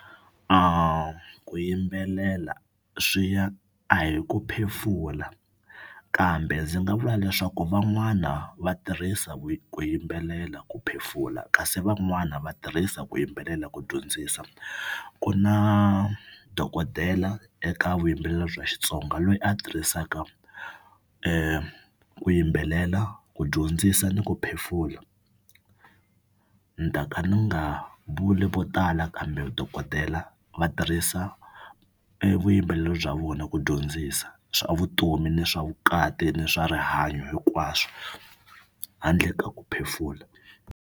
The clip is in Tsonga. Ku yimbelela swi ya a hi ku phefula kambe ndzi nga vula leswaku van'wana va tirhisa ku yimbelela ku phefula kasi van'wana va tirhisa ku yimbelela ku dyondzisa. Ku na dokodela eka vuyimbeleri bya Xitsonga loyi a tirhisaka ku yimbelela ku dyondzisa ni ku phefula. Ni ta ka ni nga vuli vo tala kambe dokodela va tirhisa e vuyimbeleri bya vona ku dyondzisa swa vutomi, ni swa vukati, ni swa rihanyo hinkwaswo handle ka ku phefula.